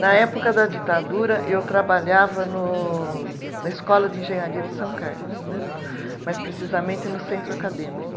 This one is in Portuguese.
Na época da ditadura eu trabalhava no, na escola de engenharia de São Carlos né, mais precisamente no centro acadêmico.